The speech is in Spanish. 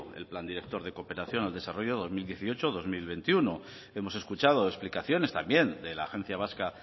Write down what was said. el plan director de cooperación al desarrollo dos mil dieciocho dos mil veintiuno hemos escuchado explicaciones también de la agencia vasca